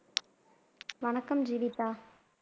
வணக்கம் ஜீவிதா